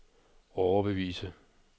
overbevise